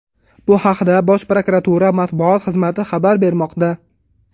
Bu haqda Bosh prokuratura matbuot xizmati xabar bermoqda.